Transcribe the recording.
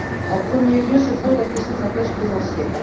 En premier lieu se pose la question de la pêche plaisancière.